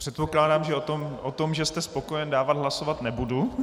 Předpokládám, že o tom, že jste spokojen, dávat hlasovat nebudu.